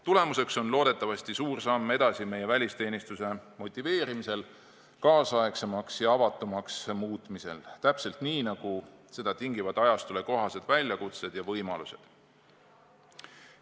Tulemuseks on loodetavasti suur samm edasi meie välisteenistuse motiveerimisel, kaasaegsemaks ja avatumaks muutmisel, täpselt nii nagu seda tingivad ajastule kohased väljakutsed ja võimalused.